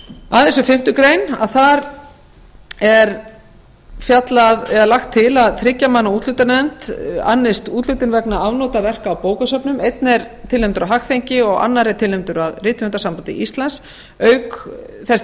aðeins um fimmtu grein þar er lagt til að þriggja manna úthlutunarnefnd annist úthlutun vegna afnota verka á bókasöfnum einn er tilnefndur af hagþenki og annar er tilnefndur af rithöfundasambandi íslands auk þess